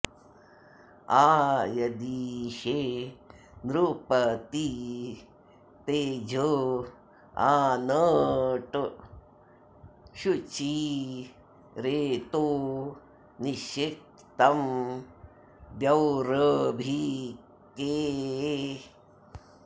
आ यदि॒षे नृ॒पतिं॒ तेज॒ आन॒ट् छुचि॒ रेतो॒ निषि॑क्तं॒ द्यौर॒भीके॑